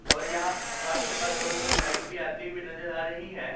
और यहां फर्श के पास थोड़ी थोड़ी लाइट भी आती हुई नजर आ रही हैं।